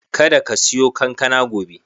Kada ka siyo kankana gobe.